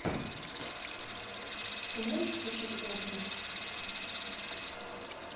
ты можешь включить отмель